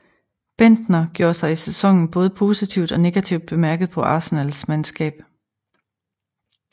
Bendtner gjorde sig i sæsonen både positivt og negativt bemærket på Arsenals mandskab